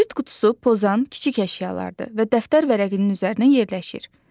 Kibrit qutusu, pozan kiçik əşyalardır və dəftər vərəqinin üzərində yerləşir.